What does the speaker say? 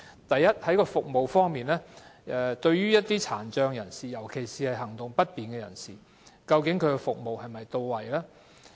第一，在服務方面，對於身體有殘疾，尤其是行動不便的人士，究竟服務是否到位？